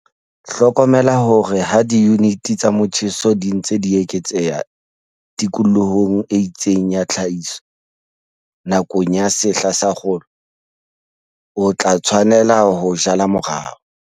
Hlokomela hore ha diyunite tsa motjheso di ntse di eketseha tikolohong e itseng ya tlhahiso nakong ya sehla sa kgolo, o tla tshwanela ho jala morao.